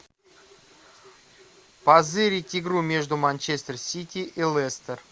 позырить игру между манчестер сити и лестер